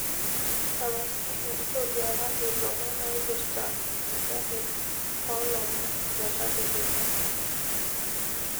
tapasali ntoduakaki lomon oiprta enkijape olomon letadekenya